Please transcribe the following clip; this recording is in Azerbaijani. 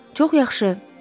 Çox yaxşı.